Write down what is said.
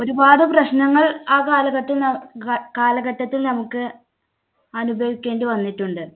ഒരുപാട് പ്രശ്നങ്ങൾ ആ കാലഘട്ട ന്നാ ഘ കാലഘട്ടത്തിൽ നമുക്ക് അനുഭവിക്കേണ്ടി വന്നിട്ടുണ്ട്.